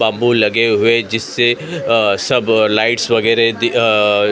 bamboo लगे हुए जिससे अ सब लाइट्स वगैरह दी अ --